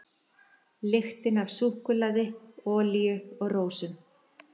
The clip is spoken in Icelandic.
Lyktin af súkkulaði, olíu og rósum.